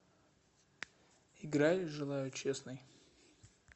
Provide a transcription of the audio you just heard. играй желаю честный